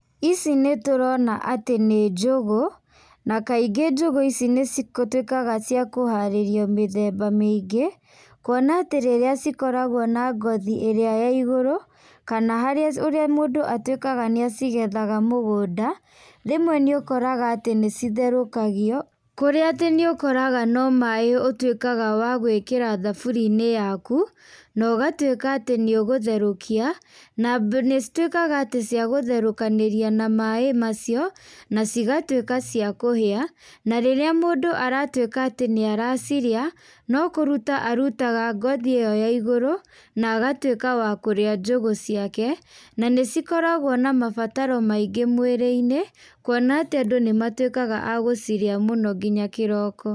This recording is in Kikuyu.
Ici nĩtũrona atĩ nĩ njũgũ, na kaingĩ njũgũ ici nĩcituĩkaga cia kũharĩrio mĩthemba mĩingĩ, kuona atĩ rĩrĩa cikoragwo na ngothi ĩrĩa ya igũrũ, kana harĩ ũrĩa mũndũ atuĩkaga nĩacigethaga mũgũnda, rĩmwe nĩũkoraga atĩ nĩcitherũkagio, kũrĩa atĩ nĩũkoraga no maĩ ũtuĩkaga wa gwĩkĩra thaburiainĩ yaku, na ũgatuĩka atĩ nĩũgatherũkia, na nĩcituĩkaga atĩ ciagũtherũkanĩria na maĩ macio, nacigatuĩka cia kũhĩa, na rĩrĩa mũndũ aratuĩka atĩ nĩaracirĩa, no kũruta arutaga ngoyi ĩyo ya ĩgũrũ, na agatuĩka wa kũrĩa njũgũ ciake, na nĩcikoragwo na mabataro maingĩ mwĩrĩinĩ, kuona atĩ andũ nĩmatuĩkaga a gũcirĩa mũno nginya kĩroko.